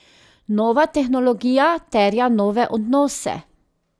Nova tehnologija terja nove odnose.